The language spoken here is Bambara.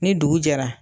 Ni dugu jɛra